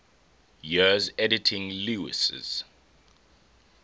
years editing lewes's